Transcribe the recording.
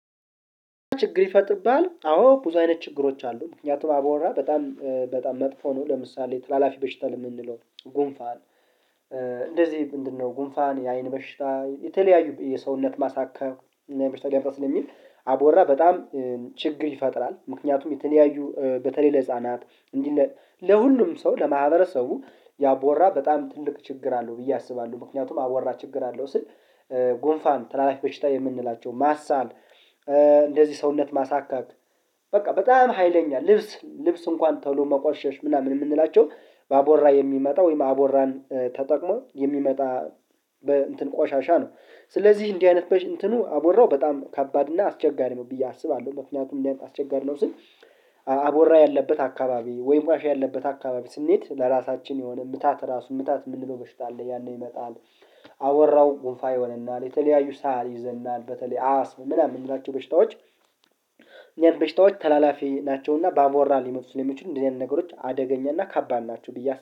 ችግር ይፈጥብሃል? አዎ ብዙ አይነት ችግሮች አሉ፤ ምክንያቱም አብወራ በጣም በጣም መጥፎ ነው፤ ለምሳሌ ተላላፊ በሽታ ለምንለው ጉንፋን እንደዚህ ምንድነው ጉንፋን፣ የአይን በሽታ፣ የተለያዩ የሰውነት ማሳከክ እና በሽታ ሊያመጣ ስለሚል አቦራ በጣም ችግር ይፈጥራል፤ ምክንያቱም የተለያዩ በተለይ ለህፃናት እንዲህ ለሁሉም ሰው ለማህበረሰቡ ያቦራ በጣም ትልቅ ችግር አለው ብዬ አስባለሁ፤ ምክንያቱም አወራ ችግር አለው ስል ጉንፋን ተላላፊ በሽታ የምንላቸው ማሳል እንደዚህ ሰውነት ማሳከክ በቃ በጣም ሀይለኛ ልብስ ልብስ እንኳን ቶሎ መቆሸሽ ምናምን የምንላቸው ባቦራ የሚመጣ ወይም አቦራን ተጠቅሞ የሚመጣ በእንትን ቆሻሻ ነው፤ ስለዚህ እንዲህ አይነት እንትኑ አቦራው በጣም ከባድ እና አስቸጋሪ ነው ብዬ አስባለሁ፤ ምክንያቱም እንዲያውቅ አስቸጋሪ ነው ስል አቦራ ያለበት አካባቢ ወይ ዋሻ ያለበት አካባቢ ስንሄድ፣ ለራሳችን የሆነ ምታት ራሱ ምታት የምንለው በሽታ አለ። ያንን ይመጣል። አወራው ጉንፋ ይሆንና ለተለያዩ ሳህል ይዘናል በተለይ አስም ምናምን የምላቸው በሽታዎች እኒያ በሽታዎች ተላላፊ ናቸውና በአቦራ ሊመጡ ስለሚችሉ እንደዚህ አይነት ነገሮች አደገኛና ከባን ናቸው ብዬ